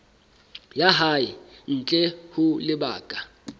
ya hae ntle ho lebaka